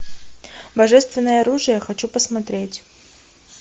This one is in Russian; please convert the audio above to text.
божественное оружие хочу посмотреть